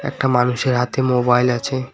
একটা মানুষের হাতে মোবাইল আছে।